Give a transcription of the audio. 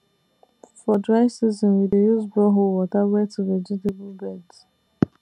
for dry season we dey use borehole water wet vegetable beds